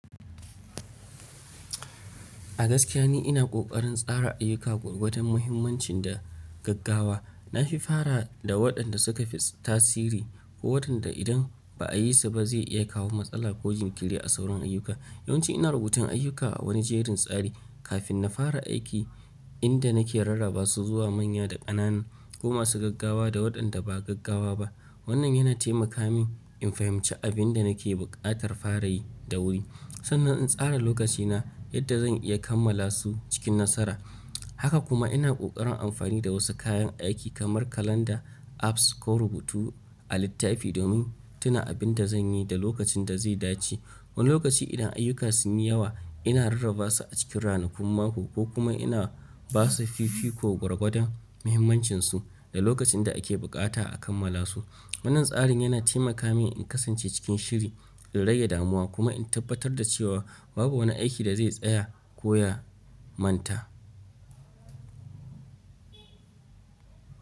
A gaskiya ni ina ƙoƙarin tsara ayyuka gwargwadon mahimmancin da gaggawa. Na fi fara da waɗanda suka fi tasiri ko watanda idan ba a yi su ba ze iya kawo matsala ko jinkiri a sauran ayyuka. Yawanci ina rubutun ayyuka a wani jerin tsari kafin na fara aiki, inda nake rarrabasu zuwa manya da ƙanana ko masu gaggawa da waɗanda ba gaggawa ba. Wannan yana taimaka min in fahimci abin da nake buƙatar fara yi da wuri, sannan in tsara lokacina yadda zan iya kammala su cikin nasara. Haka kuma ina ƙoƙarin amfani da wasu kayan aiki kamar kalanda, apps ko rubutu a littafi domin tuna abin da zan yi da lokacin da zai dace. Wani lokaci idan ayyuka sun yi yawa, ina rarrabasu a cikin ranakun mako ko kuma ina basu fifi ko gwargwadon muhimmancinsu da lokacin da ake buƙata a kammala su. Wannan tsarin yana taimaka min in kasance cikin shiri, in rage damuwa kuma in tabbatar da cewa babu wani aiki da zai tsaya ko ya manta.